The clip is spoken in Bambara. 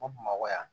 Ko bamakɔ yan